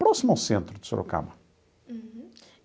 Próximo ao centro de Sorocaba. Uhum.